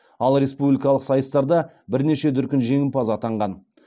ал республикалық сайыстарда бірнеше дүркін жеңімпаз атанған